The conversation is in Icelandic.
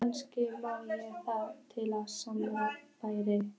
Kannski má það til sanns vegar færa.